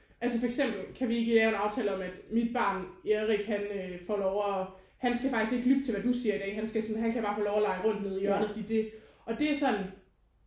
Altså for eksempel kan vi ikke lave en aftale om at mit barn Erik han øh får lov at han skal faktisk ikke lytte til hvad du siger i dag han skal sådan han kan bare få lov at lege rundt nede i hjørnet fordi det og det er sådan